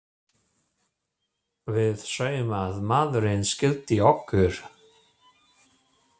Við sáum að maðurinn skildi okkur.